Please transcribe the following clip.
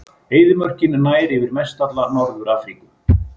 Eyðimörkin nær yfir mestalla Norður-Afríku.